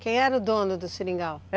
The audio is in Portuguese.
Quem era o dono do seringal?